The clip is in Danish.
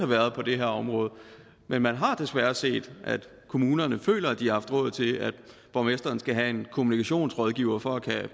været på det her område men man har desværre set at kommunerne har følt at de har haft råd til at borgmesteren skulle have en kommunikationsrådgiver for at kunne